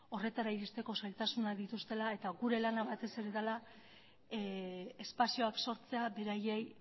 horretara iristeko zailtasunak dituztela eta gure lana batez ere dela espazioak sortzea beraiei